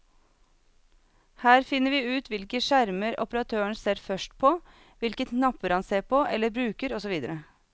Her finner vi ut hvilke skjermer operatøren ser først på, hvilke knapper ser han på eller bruker og så videre.